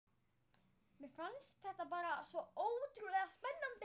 Mér fannst þetta bara svo ótrúlega spennandi.